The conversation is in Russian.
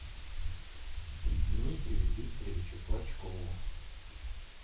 дмитрию викторовичу клочкову